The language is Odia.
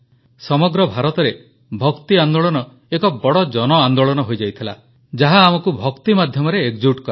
ସମଗ୍ର ଭାରତରେ ଭକ୍ତି ଆନ୍ଦୋଳନ ଏକ ବଡ଼ ଜନଆନ୍ଦୋଳନ ହୋଇଯାଇଥିଲା ଯାହା ଆମକୁ ଭକ୍ତି ମାଧ୍ୟମରେ ଏକଜୁଟ କଲା